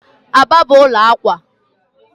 Aba bụ ụlọ akwa.